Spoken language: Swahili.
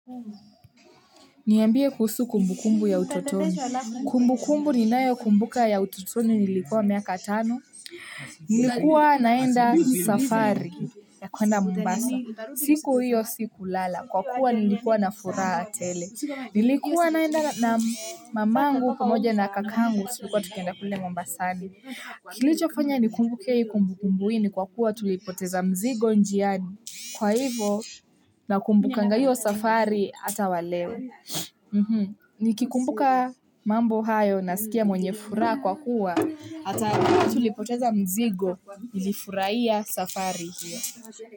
Niambie kuhusu kumbukumbu ya utotoni. Kumbukumbu ninayokumbuka ya utotoni nilikuwa miaka tano. Nilikuwa naenda safari ya kuenda mombasa. Siku hiyo siku lala, kwa kuwa nilikuwa na furaha tele. Nilikuwa naenda mamangu pamoja na kakangu tulikuwa tukienda kule mombasani. Kilichofanya ni kumbuke kumbukumbu hii ni kwa kuwa tulipoteza mzigo njiani kwa hivyo na kumbukanga hiyo safari hata wa leo. Nikikumbuka mambo hayo nasikia mwenye furaha kwa kuwa hata kama tulipoteza mzigo nilifuraia safari hiyo.